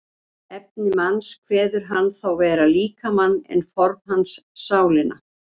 Efni manns kveður hann þá vera líkamann en form hans sálina.